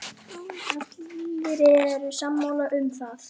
Allir eru sammála um það.